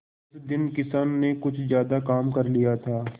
उस दिन किसान ने कुछ ज्यादा काम कर लिया था